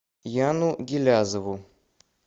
яну гилязову